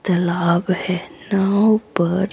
तालाब है नाव पर --